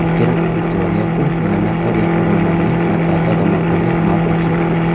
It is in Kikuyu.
Īkĩra itua rĩaku mwena ũria uronania matangatho makũhĩ ma cookies